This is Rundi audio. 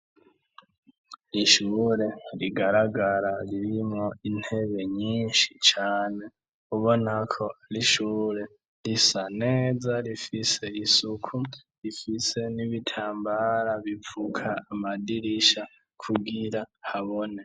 Ishure rigaragara ririmwo intebe nyinshi cane ubonako arishure risa neza rifise isuku rifise n'ibitambara bipfuka amadirisha kugira habone.